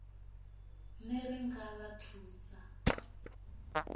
ner i nga vha thusa